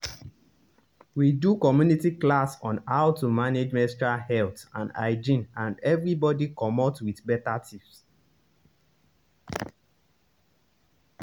we do community class on how to manage menstrual health and hygiene and everybody comot with better tips. better tips.